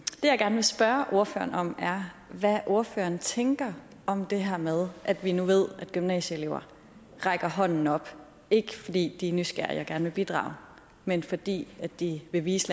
jeg gerne vil spørge ordføreren om er hvad ordføreren tænker om det her med at vi nu ved at gymnasieelever rækker hånden op ikke fordi de er nysgerrige og gerne vil bidrage men fordi de vil vise